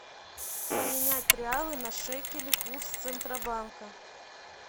поменять реалы на шекели курс центробанка